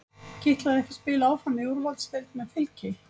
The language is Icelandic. Kitlaði ekki að spila áfram í úrvalsdeild með Fylki?